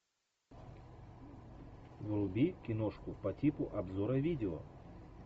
вруби киношку по типу обзора видео